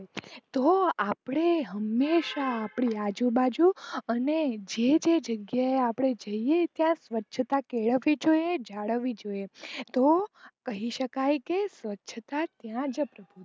તો આપણે હંમેશ આપણી આજુ બાજુ અને જેજે જાંગીયા આ જઇયે છીએ ત્યાં સ્વછતા કેળવવી જોઈએ જાળવવી જોઈએ તો કહી સકાય કે સ્વછતાતા.